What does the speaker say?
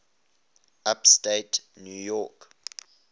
upstate new york